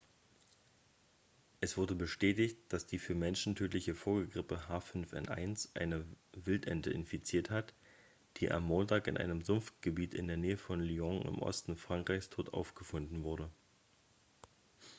es wurde bestätigt dass die für menschen tödliche vogelgrippe h5n1 eine wildente infiziert hat die am montag in einem sumpfgebiet in der nähe von lyon im osten frankreichs tot aufgefunden wurde